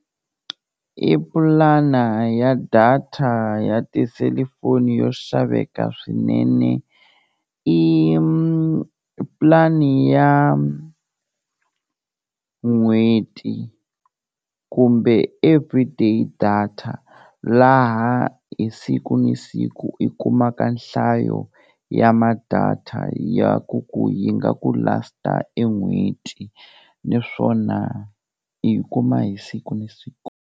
I pulana ya data ya tiselifoni yo xaveka swinene i pulani ya n'hweti kumbe everyday data, laha hi siku ni siku i kumaka nhlayo ya ma-data ya ku ku yi nga ku last-a e n'hweti naswona u yi kuma hi siku ni siku.